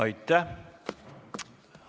Aitäh!